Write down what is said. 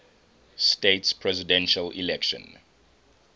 states presidential election